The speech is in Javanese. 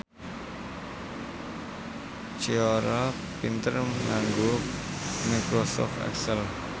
Ciara pinter nganggo microsoft excel